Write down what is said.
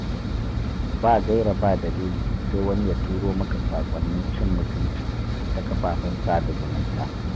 Ba gaira ba dalili sai wani ya turo maka saƙonnin cin mutumci ta kafafen sada zumunta.